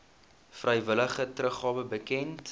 vrywillige teruggawe bekend